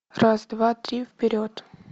раз два три вперед